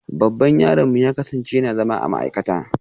Babban yaronmu ya kasance yana zama a cikin ma'aikata